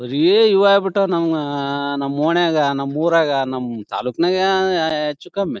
ಬರಿ ಈವಾಗ್ ಬಿಟ್ಟು ನಮ್ ನಮ್ ಓಣ್ಯಾಗ ನಮ್ ಉರಗ ನಮ್ ತಲುಕ್ನಗ ಹೆಚ್ಹು ಕಮ್ಮಿ.